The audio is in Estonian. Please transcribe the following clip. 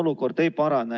Imre Sooäär, palun!